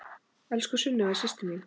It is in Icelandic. Elsku Sunneva systir mín.